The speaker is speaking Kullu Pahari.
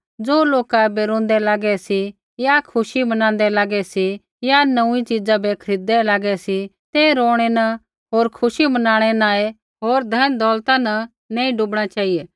ज़ो लोका ऐबै रोंदै लागै सी या खुशी मनाँदै लागै सी या नोंऊँई च़ीजा बै खरीददै लागै सी ते रोणैं न होर खुशी मनाणै न ही होर धन दौलता न नैंई डूबणा चेहिऐ